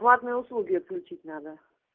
платные услуги отключить надо